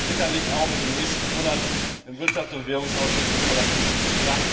Das werden wir sicherlich auch in den nächsten Monaten im Wirtschafts und Währungsausschuss des Parlaments tun.